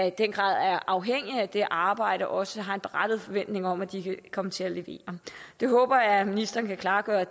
i den grad er afhængig af det arbejde også har en berettiget forventning om at de kan komme til at levere det håber jeg ministeren kan klargøre